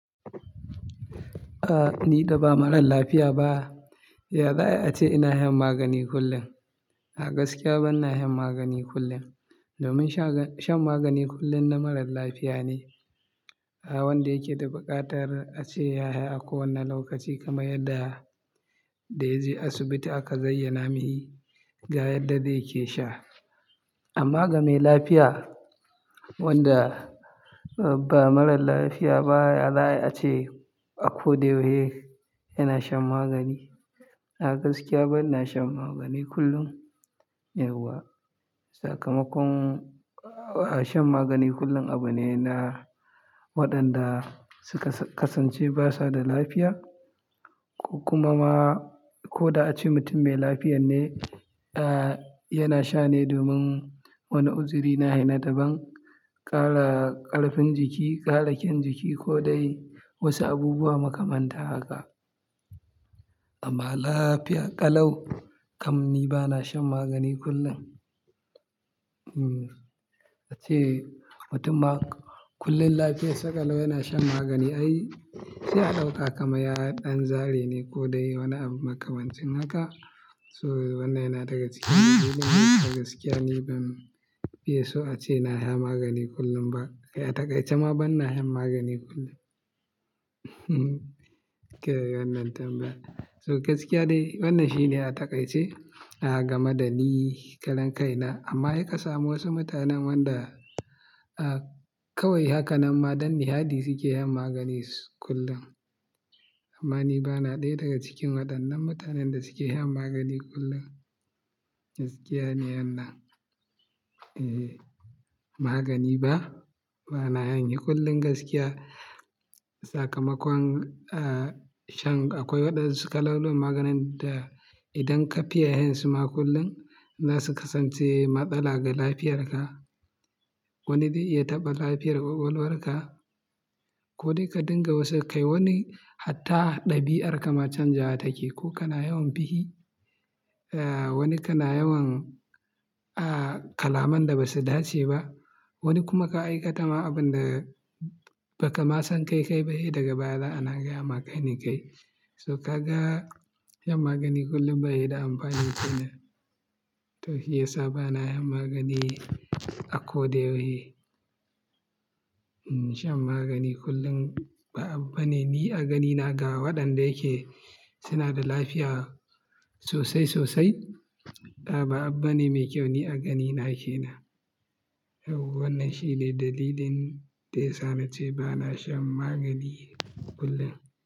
Ah, ni da ba marar lafiya ba, ya zai ace ina shan magani kullum? A gaskiya bana shan magani kullum. Domin shan magani kullum na marar lafiya ne. Ah, wanda yake da buƙatar a ce ya sha a kowane lokaci kamar yadda, da yaje asibiti aka zayyana ma shi ga yadda zai ke sha. Amma ga mai lafiya wanda ba marar lafiya ba, ya zai a ce a ko da yaushe yana shan magani? A gaskiya bana shan magani kullum. Yawwa, sakamakon, ah, shan magani kullum abu ne na waɗanda suka kasance ba sa da lafiya. Kuma ma ko da a ce mutum mai lafiya ne, ah, yana sha ne domin wani uzuri na shi na daban, ƙara ƙarfin jiki, ƙara kyan jiki ko dai wasu abubuwa makamanta haka. Amma lafiya ƙalau kamar ni bana shan magani kullum. Hmm, ace mutumma kullum lafiya sakalau yana shan magani ai, sai a ɗauka kamar ya yi ɗan zare ne ko dai wani abu makamancin haka. So wannan yana daga cikin gaskiya ni ban fiye so a ce ina sha magani kullum ba. A takai ce ma bana shan magani kullum. Ke wannan tambaya. So gaskiya dai wannan shi ne a takai ce, ah, game da ni karan kai na. Amma sai kasamu wasu mutanen wanda, ah, kawai haka nan ma don nishaɗi suke yin magani kullum. Amma ni bana ɗaya daga cikin waɗannan mutanen da suke shan magani kullum. Gaskiya ne wannan. Eeh, magani ba, bana shan shi kullum gaskiya. Sakamakon, ah, shan akwai waɗan su kalolin maganin da idan ka fiye yin su ma kullum, za su kasance matsala ga lafiyar ka. Wani zai iya taɓa lafiyar ƙwaƙwalwar ka. Ko dai ka dinga wasu kai wani hatta ɗabi'arka ma canja take ko kana yawan fishii. Ah, wani kana yawan, ah, kalaman da ba su dace ba. Wani kuma ka aika ta ma abun da ba ka ma san kai kai ba, sai daga baya da anaga ya ma kai ni kai. So ka ga yin magani kullum ba shi da amfani shine. To shiyasa bana shan magani a ko da yaushe. Hmm, shan magani kullum ba abu ba ne. Ni a gani na ga waɗanda yake suna da lafiya sosai sosai. Ah, ba abu ne mai kyau ni a gani nake nan. Irin wannan shi ne dalilin da ya sa na ce bana shan magani kullum.